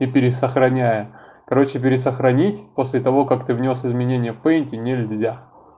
и пересохраняя короче пересохранить после того как ты внёс изменения в пейнте нельзя